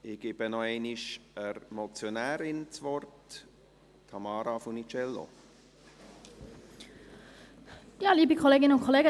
Ich gebe das Wort noch einmal der Motionärin: Tamara Funiciello.